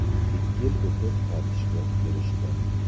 Ikki yil o‘tib qaytishga erishdim.